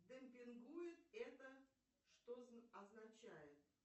демпингует это что означает